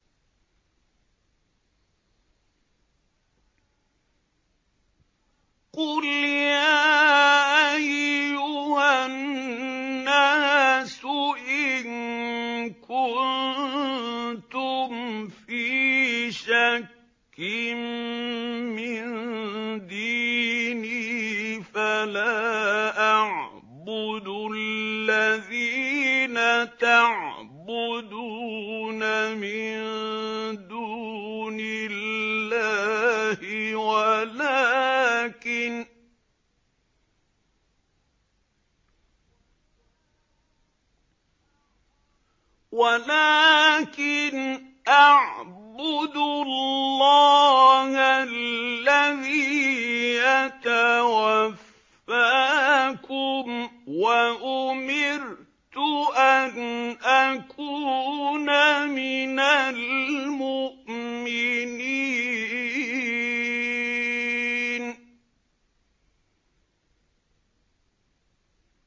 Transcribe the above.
قُلْ يَا أَيُّهَا النَّاسُ إِن كُنتُمْ فِي شَكٍّ مِّن دِينِي فَلَا أَعْبُدُ الَّذِينَ تَعْبُدُونَ مِن دُونِ اللَّهِ وَلَٰكِنْ أَعْبُدُ اللَّهَ الَّذِي يَتَوَفَّاكُمْ ۖ وَأُمِرْتُ أَنْ أَكُونَ مِنَ الْمُؤْمِنِينَ